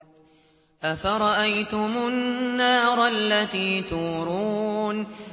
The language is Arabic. أَفَرَأَيْتُمُ النَّارَ الَّتِي تُورُونَ